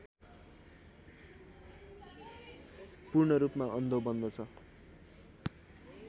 पूर्णरूपमा अन्धो बन्दछ